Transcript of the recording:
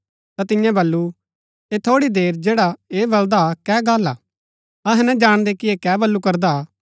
ता तियें बल्लू ऐह थोड़ी देर जैडा ऐह बलदा हा कै गल्ल हा अहै ना जाणदै कि ऐह कै बल्लू करदा हा